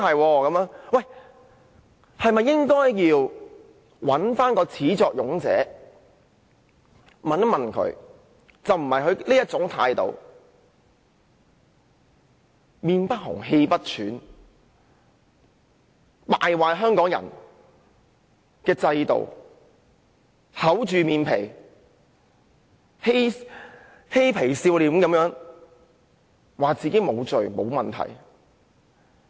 我們是否應該向始作俑者查問，而不是讓他用這種臉不紅、氣不喘的態度，敗壞香港人的制度，厚着臉皮、嘻皮笑臉地說自己沒有罪、沒有問題。